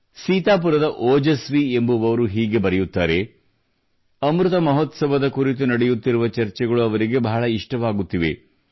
ಸೀತಾಪುರದ ಓಜಸ್ವಿ ಎಂಬುವರು ಹೀಗೆ ಬರೆಯುತ್ತಾರೆ ಅಮೃತ ಮಹೋತ್ಸವದ ಕುರಿತು ನಡೆಯುತ್ತಿರುವ ಚರ್ಚೆಗಳು ಅವರಿಗೆ ಬಹಳ ಇಷ್ಟವಾಗುತ್ತಿವೆ